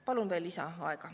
Palun lisaaega.